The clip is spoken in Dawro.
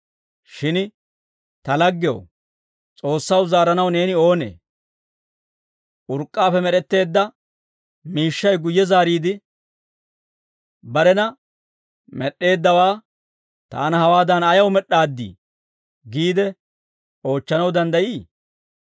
Shin ta laggew, S'oossaw zaaranaw neeni oonee? Urk'k'aappe med'etteedda miishshay guyye zaariide barena med'd'eeddawaa, «Taana hawaadan ayaw med'd'aaddii?» giide oochchanaw danddayii?